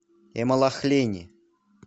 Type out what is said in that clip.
эмалахлени